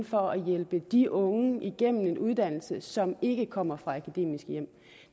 for at hjælpe de unge igennem en uddannelse som ikke kommer fra akademiske hjem